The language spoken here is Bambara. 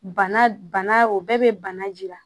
Bana o bɛɛ bɛ bana jira